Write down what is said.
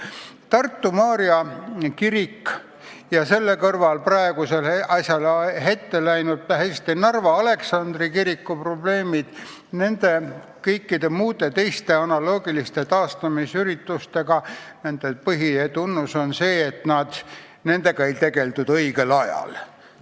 Tartu Maarja kiriku ja selle kõrval Narva Aleksandri kiriku ja kõikide muude analoogiliste taastamisettevõtmiste põhitunnus on see, et nendega ei tegeldud õigel ajal.